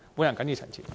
我謹此陳辭。